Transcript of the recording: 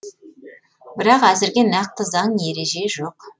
бірақ әзірге нақты заң ереже жоқ